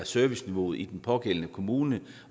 serviceniveauet i den pågældende kommune